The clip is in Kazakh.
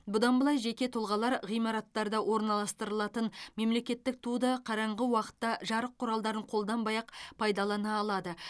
бұдан былай жеке тұлғалар ғимараттарда орналастырылатын мемлекеттік туды қараңғы уақытта жарық құралдарын қолданбай ақ пайдалана алады